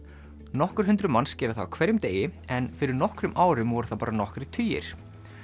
nokkur hundruð manns gera það á hverjum degi en fyrir nokkrum árum voru það bara nokkrir tugir